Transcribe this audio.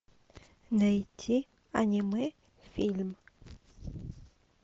найти аниме фильм